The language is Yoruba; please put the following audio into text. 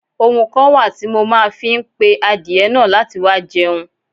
Ohùn kan wá ti mo ma fi n pe àdiẹ naà láti wá jẹun